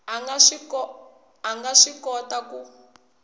a nga swi kota ku